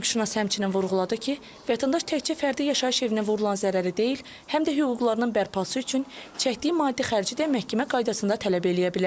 Hüquqşünas həmçinin vurğuladı ki, vətəndaş təkcə fərdi yaşayış evinə vurulan zərəri deyil, həm də hüquqlarının bərpası üçün çəkdiyi maddi xərci də məhkəmə qaydasında tələb eləyə bilər.